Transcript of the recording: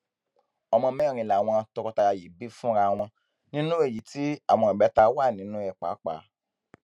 ọmọ mẹrin làwọn tọkọtaya yìí bí fúnra wọn nínú èyí tí àwọn ìbẹta wà nínú ẹ pàápàá